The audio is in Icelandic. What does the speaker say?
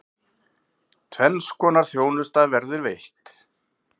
Tvenns konar þjónusta verður veitt.